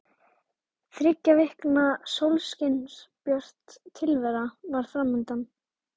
Þriggja vikna sólskinsbjört tilvera var fram undan.